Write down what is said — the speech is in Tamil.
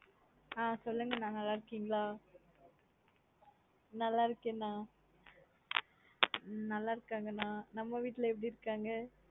ஆஹ் சொளுங்கனா நல்லா இருக்கீங்களா நல்ல இருக்கேனா நல்லா இருகங்கனா நம்மா வீட்ல எப்டியருகங்கா?